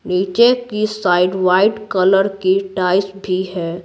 नीचे की side white colour की टाइस भी है।